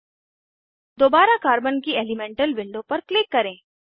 httpenwikipediaorgwikiSpin states d electrons दोबारा carbon की elemental window पर क्लिक करें